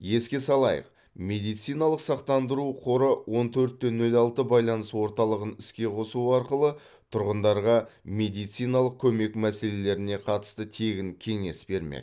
еске салайық медициналық сақтандыру қоры он төрт те нөл алты байланыс орталығын іске қосу арқылы тұрғындарға медициналық көмек мәселелеріне қатысты тегін кеңес бермек